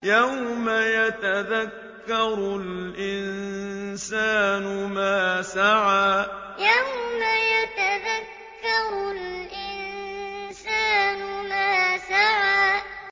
يَوْمَ يَتَذَكَّرُ الْإِنسَانُ مَا سَعَىٰ يَوْمَ يَتَذَكَّرُ الْإِنسَانُ مَا سَعَىٰ